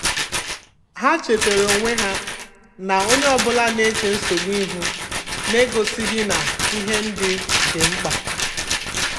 Ha chetaara onwe ha na onye ọ bụla na-eche nsogbu ihu na-egosighị na ihe ndị dị mkpa.